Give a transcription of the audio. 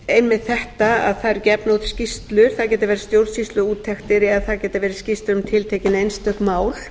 einmitt þetta það eru gefnar út skýrslur það geta verið stjórnsýsluúttektir eða það geta verið skýrslur um tiltekin einstök mál